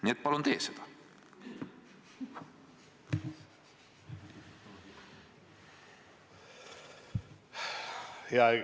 Nii et palun tee seda!